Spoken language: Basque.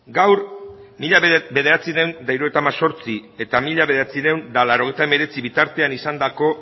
gaur mila bederatziehun eta hirurogeita hemezortzieta mila bederatziehun eta laurogeita hemeretzi bitartean izandako